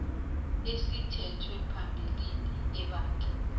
esithethwe phambilini ebandla